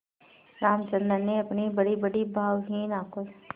रामचंद्र ने अपनी बड़ीबड़ी भावहीन आँखों